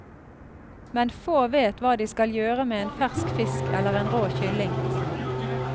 Men få vet hva de skal gjøre med en fersk fisk eller en rå kylling.